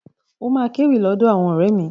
Ó máa kéwì lọ́dọ̀ àwọn ọ̀rẹ́ mi.